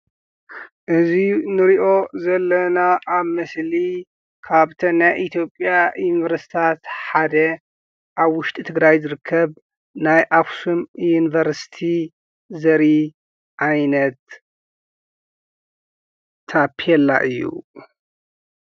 እዚ ንሪኦ ዘለና ኣብ ምስሊ ካብተን ናይ ኢትዮጵያ ዩኒቨርስቲታት ሓደ ኣብ ውሽጢ ትግራይ ዝርከብ ናይ ኣክሱም ዩኒቨርስቲ ዘርኢ ዓይነት ታቤላ እዩ።